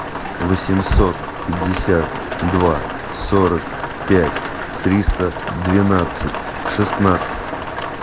восемьсот пятьдесят два сорок пять триста двенадцать шестнадцать